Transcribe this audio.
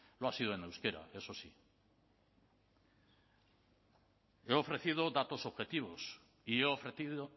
lo ha sido en euskera eso sí le he ofrecido datos objetivos y he ofrecido